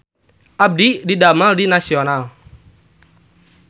Abdi didamel di Nasional